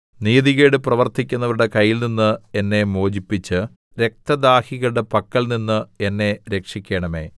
നീതികേട് പ്രവർത്തിക്കുന്നവരുടെ കയ്യിൽനിന്ന് എന്നെ മോചിപ്പിച്ച് രക്തദാഹികളുടെ പക്കൽനിന്ന് എന്നെ രക്ഷിക്കണമേ